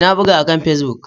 Ee, na buga akan Facebook.